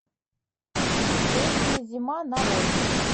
женщина зима нарой